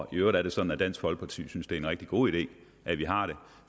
øvrigt er det sådan at dansk folkeparti synes at det er en rigtig god idé at vi har det